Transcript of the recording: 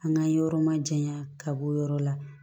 An ka yɔrɔ ma jayan ka bɔ o yɔrɔ la